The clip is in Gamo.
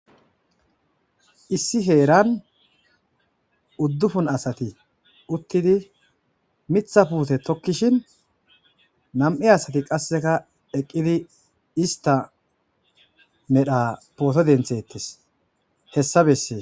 issi heeran uddufun asati uttidi mitha puute tokkishin nam7i asati qasseka eqqidi ista medha pooto denthettes hessa bessee